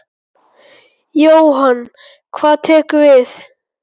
Jóhann: Hvað tekur við?